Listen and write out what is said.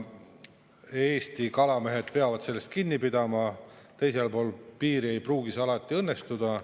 Eesti kalamehed peavad sellest kinni pidama, teisel pool piiri ei pruugi see alati õnnestuda.